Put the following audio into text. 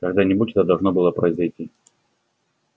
когда-нибудь это должно было произойти